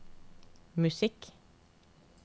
musikk